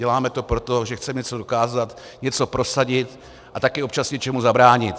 Děláme to proto, že chceme něco dokázat, něco prosadit a také občas něčemu zabránit.